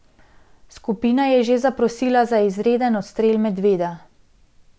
Skupina je že zaprosila za izreden odstrel medveda.